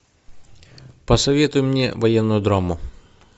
посоветуй мне военную драму